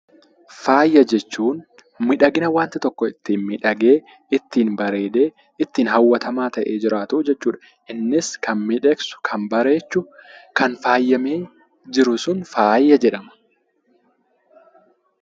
faaya jechuun miidhagina wanta tokko ittiin miidhagee bareedee ittiin hawwatamaa ta'ee jiraatu jechuudha. Innis kan miidhagsu kan bareechu kan faayamee jiru sun faaya jedhama.